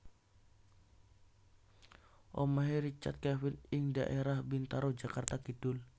Omahe Richard Kevin ing dhaerah Bintaro Jakarta Kidul